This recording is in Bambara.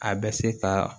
A bɛ se ka